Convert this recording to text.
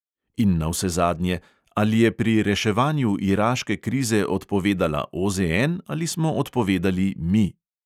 In navsezadnje: ali je pri reševanju iraške krize odpovedala OZN ali smo odpovedali "mi"?